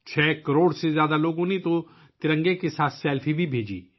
6 کروڑ سے زیادہ لوگوں نے ترنگے کے ساتھ سیلفی بھی بھیجی